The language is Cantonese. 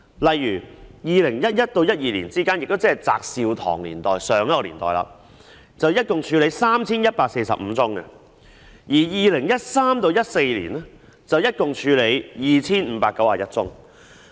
例如，在2011年至2012年期間，監警會處理共 3,145 宗，而2013年至2014年期間則處理共 2,591 宗。